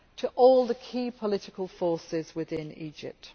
To all the key political forces within Egypt.